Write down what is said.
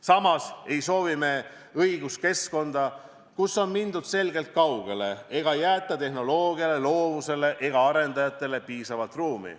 Samas ei soovi me õiguskeskkonda, kus on mindud selgelt kaugele ega jäeta tehnoloogiale, loovusele ega arendajatele piisavalt ruumi.